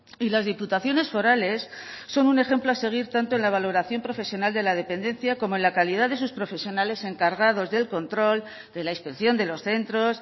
y las diputaciones forales son un ejemplo a seguir tanto en la valoración profesional de la dependencia como en la calidad de sus profesionales encargados del control de la inspección de los centros